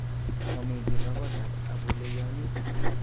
Momikiba kotab abuleyonit